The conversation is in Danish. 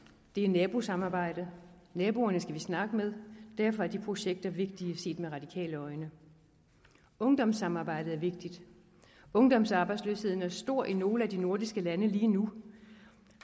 det er nabosamarbejde og naboerne skal vi snakke med og derfor er de projekter vigtige set med radikale øjne ungdomssamarbejdet er vigtigt ungdomsarbejdsløsheden er stor i nogle af de nordiske lande lige nu